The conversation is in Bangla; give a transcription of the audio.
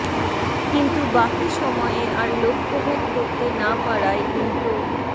কিন্তু বাকি সময়ে আর লক্ষ্যভেদ করতে না পারায় উল্টো